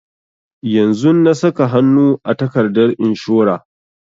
Yanzun na saka hanu a takardar inshora